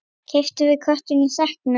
Keyptum við köttinn í sekknum?